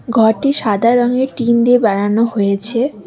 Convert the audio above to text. ঘরটি সাদা রঙের টিন দিয়ে বানানো হয়েছে।